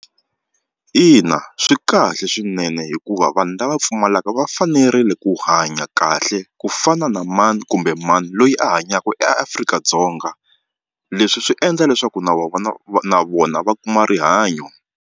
Ina swi kahle swinene hikuva vanhu lava pfumalaka va fanerile ku hanya kahle ku fana na mani kumbe mani loyi a hanyaka eAfrika-Dzonga leswi swi endla leswaku na na vona va kuma rihanyo.